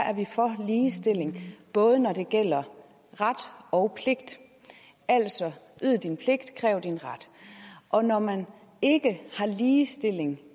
er vi for ligestilling både når det gælder ret og pligt altså gør din pligt kræv din ret og når man ikke har ligestilling